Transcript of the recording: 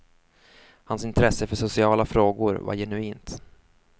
Hans intresse för sociala frågor var genuint.